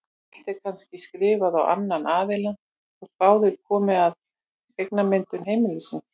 Allt er kannski skrifað á annan aðilann þótt báðir komi að eignamyndun heimilisins.